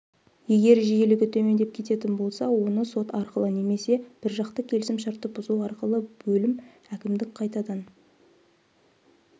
егер жиілігі төмендеп кететін болса оны сот арқылы немесе біржақты келісімшартты бұзу арқылы бөлім әкімдік қайтадан